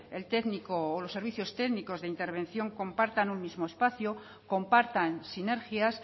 el técnico o los servicios técnicos de intervención compartan un mismo espacio compartan sinergias